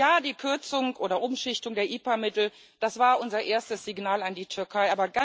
Ja, die Kürzung oder Umschichtung der IPA Mittel, das war unser erstes Signal an die Türkei.